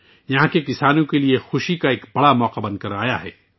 یہ یہاں کے کسانوں کے لیے خوشی کا ایک بڑا موقع کے طور پر آیا ہے